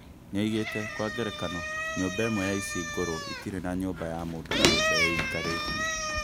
Nĩoigĩte "Kwa ngerekano nyũmba imwe ici ngũrũ itirĩ na nyũmba ya mũndũ kĩũmbe ĩikarĩtie"